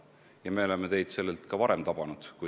Ja me oleme teid sellelt ka varem tabanud.